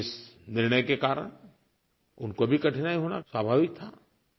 लेकिन इस निर्णय के कारण उनको भी कठिनाई होना स्वाभाविक था